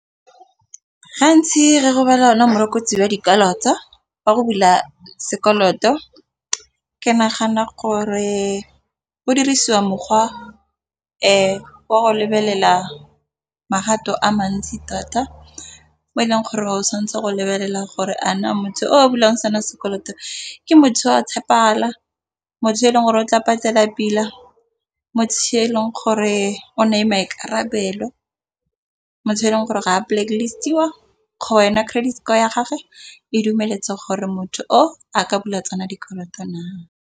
???Gantsi wa dikwalo tsa ba go bula sekoloto ke nagana gore, go dirisiwa mokgwa wa go lebelela magato a mantsi thata. O e leng gore ga o tshwanetse go lebelela gore a na motho o a bulang sana sekoloto ke motho o a tshepegala motho yo e leng gore o tla patela pila mo tsheleng gore o na e maikarabelo motho yo e leng gore ga a blacklist-iwa go wena credit score ya gage e dumeletse gore motho o a ka bula tsona dikoloto na.